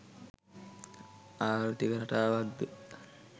ආර්ථික රටාවක්ද